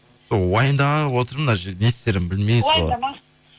сол уайымдап отырмын мына жерде не істерімді білмей уайымдамаңыз